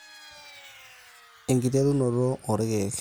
enkiterunoto oo irkeek